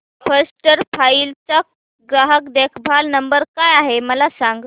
first flight चा ग्राहक देखभाल नंबर काय आहे मला सांग